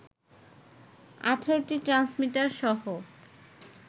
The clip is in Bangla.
১৮টি ট্রান্সমিটার সহ